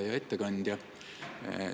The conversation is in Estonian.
Hea ettekandja!